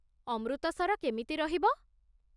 ଅମୃତସର କେମିତି ରହିବ?